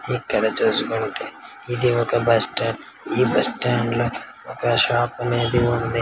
ఇక్కడ చూసుకుంటే ఇది ఒక బస్ స్టాండ్ ఈ బస్ స్టాండ్ లో ఒక షాప్ అనేది ఉంది.